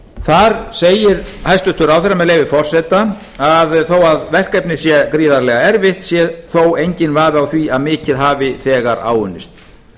þar segir hæstvirtur ráðherra með leyfi forseta að þó að verkefnið sé gríðarlega erfitt sé þó enginn vafi á því að mikið hafi þegar áunnist